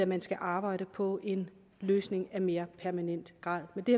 man skal arbejde på en løsning af mere permanent grad men det